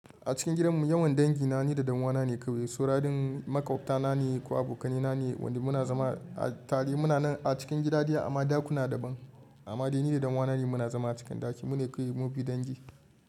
A cikin gidanmu yawan dangi na ni da ɗan uwana ne kawai. Saura din makwabtana ne ko abokanaina ne wanda muna zama. A tare muna a cikin gida ɗaya amma ɗakuna daban. Amma dai ni da ɗan uwana ne muna zama a cikin ɗaki. Mu ne kawai mubi dangi.